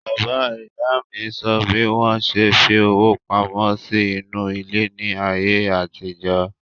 Bàbá ìyá mi sọ bí wọ́n ṣe fi owó pamọ́ sí inú ilẹ̀ ní àyè àtijọ́